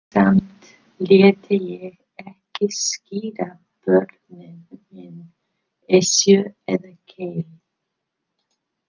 Samt léti ég ekki skíra börnin mín Esju eða Keili.